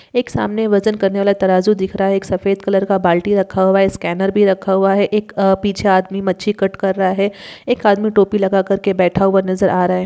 एक सामने वजन करने वाला तराजू दिख रहा है एक सफेद कलर बाल्टी रखा हुआ है स्कैनर भी रखा हुआ है एक अ पीछे आदमी मच्छी कट कर रहा है एक आदमी टोपी लगाकर के बैठा हुआ नजर आ रहा है।